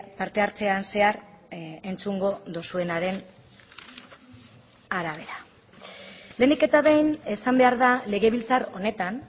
parte hartzean zehar entzungo duzuenaren arabera lehenik eta behin esan behar da legebiltzar honetan